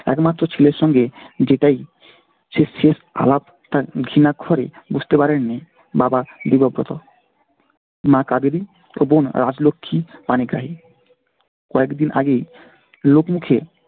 একমাত্র ছেলের সঙ্গে যেটাই শেষ শেষ আলাপ তা ঘুণাক্ষরে বুঝতে পারেননি বাবা দেবব্রত। মা কাবেরী ও বোন রাজলক্ষী পানিগ্রাহী কয়েকদিন আগেই লোকমুখে